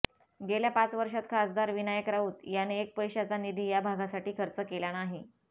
गेल्या पाच वर्षात खासदार विनायक राऊत याने एक पैशाचा निधी या भागासाठी खर्च केला नाही